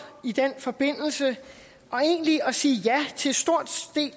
i den forbindelse egentlig at sige ja til stort